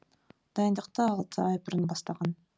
дайындықты алты ай бұрын бастаған